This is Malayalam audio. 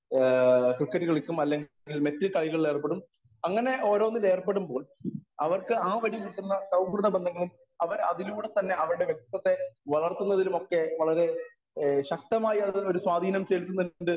സ്പീക്കർ 1 ആ ക്രിക്കറ്റ് കളിക്കും അല്ലങ്കിൽ മറ്റു കളികളിൽ ഏർപ്പെടും അങ്ങനെ ഓരോന്നിലും ഏർപ്പെടുമ്പോൾ അവർക്ക് ആ വഴി കിട്ടുന്ന സൗഹൃതബന്ധങ്ങളും അവർ അതിലൂടെ തന്നെ അവരുടെ വക്തിത്വത്തെ വളർത്തുന്നതിലുമൊക്ക വളരെ ഏഹ് ശക്തമായ് അതിന് ഒരു സ്വാധീനം ചെലുത്തുന്നുണ്ട്